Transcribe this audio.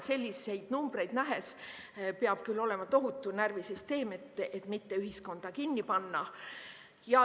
Selliseid numbreid nähes peab küll olema tohutult närvisüsteem, et mitte ühiskonda kinni panna.